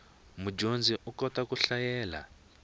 mudyondzi u kota ku hlayela